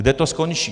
Kde to skončí?